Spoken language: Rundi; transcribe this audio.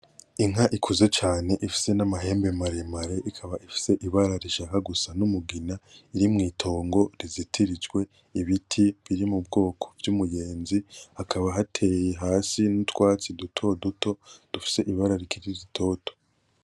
Inka ikuze cane ifise N’amahembe maremere ikaba ifise ibara rishaka gusa n'umugina, riri mw’itongo rizitirijwe ibiti biri m'ubwoko vy'umuyenzi. Hakaba hateye hasi n’utwatsi duto duto dufise ibara rikiri ritoto.